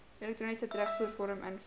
elektroniese terugvoervorm invul